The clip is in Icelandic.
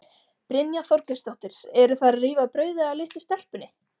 Brynja Þorgeirsdóttir: Eru þær að rífa brauðið af litlu stelpunni?